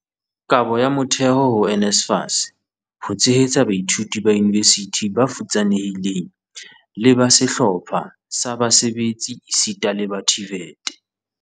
"Kabo ya motheo ho NSFAS ho tshehetsa baithuti ba yunivesithi ba futsanehileng le ba sehlopha sa basebetsi esita le ba TVET"